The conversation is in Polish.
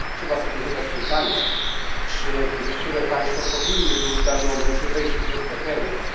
Trzeba sobie zadać pytanie, czy niektóre państwa powinny były w danym momencie wejść już do strefy euro.